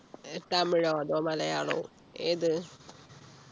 ഏർ തമിഴോ അതോ മലയാളമോ ഏത്